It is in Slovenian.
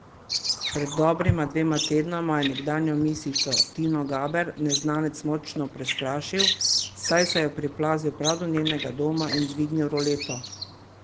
Pred dobrima dvema tednoma je nekdanjo misico Tino Gaber neznanec močno prestrašil, saj se je priplazil prav do njenega doma in dvignil roleto.